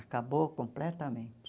Acabou completamente.